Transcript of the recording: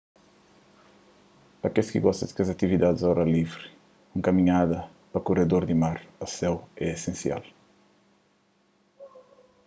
pa kes ki gosta di atividadis au ar livri un kaminhada pa kuredor di mar a séu é esensial